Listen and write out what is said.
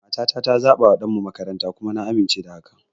Matata ta zabawa ɗanmu makaranta, kuma na amince da haka.